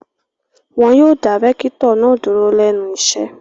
Wọ́n yóò dá rẹ́kítọ̀ náà dúró lẹ́nu iṣẹ́.